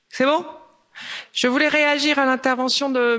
Je voulais réagir à l'intervention de monsieur Lebreton.